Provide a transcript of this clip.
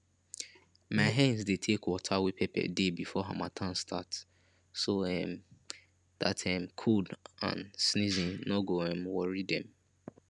my hens dey take water wey pepper dey before harmattan start so um dat um cold and sneezing no go um worry dem